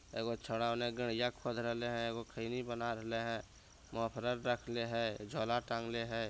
एगो छोड़ा गड़िया खोद रहले हेय एगो खैनी बना रहले हेय मफ्लर रखले हेय |